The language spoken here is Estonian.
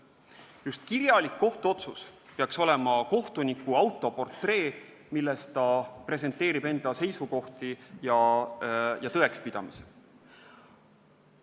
Just kirjalik kohtuotsus peaks olema kohtuniku autoportree, milles ta presenteerib enda seisukohti ja tõekspidamisi.